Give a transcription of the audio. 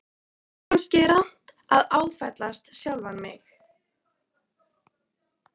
Kannski er rangt af mér að áfellast sjálfan mig.